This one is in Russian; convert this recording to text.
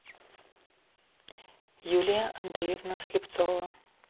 юлия андреевна слепцова